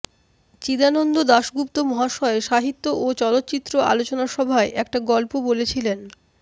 চিদানন্দ দাশগুপ্ত মহাশয় সাহিত্য ও চলচ্চিত্র আলোচনা সভায় একটা গল্প বলেছিলেন